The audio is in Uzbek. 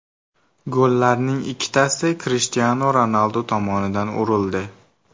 Gollarning ikkitasi Krishtianu Ronaldu tomonidan urildi.